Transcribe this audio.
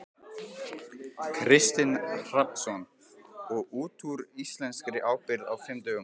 Kristinn Hrafnsson: Og út úr íslenskri ábyrgð á fimm dögum?